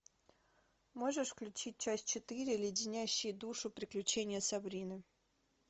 можешь включить часть четыре леденящие душу приключения сабрины